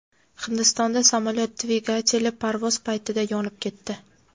Hindistonda samolyot dvigateli parvoz paytida yonib ketdi.